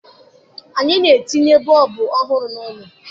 Anyị na-etinye bọọbụ ọhụrụ n'ụlọ